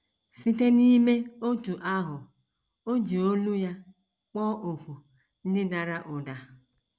Site n’ime otú ahụ, o ji olu ya kpọọ òkù ndị dara ụda.